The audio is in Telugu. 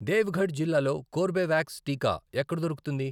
దేవగఢ్ జిల్లాలో కోర్బేవాక్స్ టీకా ఎక్కడ దొరుకుతుంది?